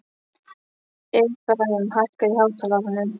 Efraím, hækkaðu í hátalaranum.